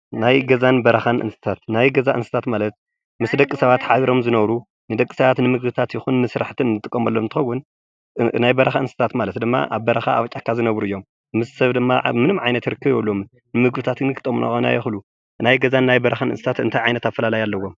ናይ ገዛን በረኻን እንስሳት ናይ ገዛ እንስሳት ማለት ምስ ደቂ ሰባት ሓቢሮም ዝነብሩ ንደቂ ሰባት ንምግብታት ይኹን ንስራሕቲ እንጥቀመሎም እንትኸውን ናይ በረኻ እንስሳታት ማለት ድማ ኣብ በረካ ኣብ ጫካ ዝነብሩ እዮም። ምስ ሰብ ድማ ምንም ዓይነት ርክብ የብሎምን ንምግብታት ክጠቅሙና ይክእሉ ።ናይ ገዛን ናይ በረኻ እንታይ ዓይነት ኣፈላላይ ኣለዎም?